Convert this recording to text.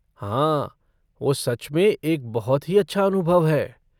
हाँ वो सच में एक बहुत ही अच्छा अनुभव है।